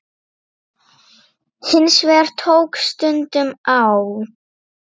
Hins vegar tók stundum á.